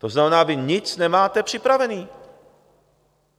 To znamená, vy nic nemáte připravený.